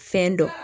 Fɛn dɔ